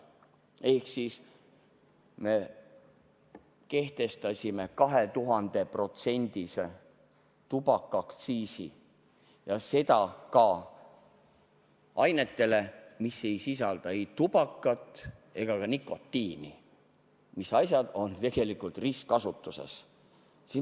Ehk me kehtestasime 2000%-lise tubakaaktsiisi ja seda ka ainetele, mis ei sisalda ei tubakat ega ka nikotiini, mis on tegelikult ristkasutuses.